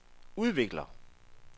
udvikler